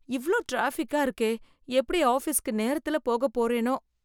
இவ்ளோ டிராபிக்கா இருக்கே, எப்படி ஆஃபீஸ்க்கு நேரத்துல போகப்போறேனோ